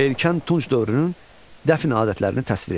Erkən Tunc dövrünün dəfn adətlərini təsvir edin.